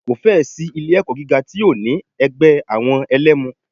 Kò fẹ́ ẹ̀ sí ilé ẹ̀kọ́ gíga tí ò ní ẹgbẹ́ àwọn ẹlẹmu.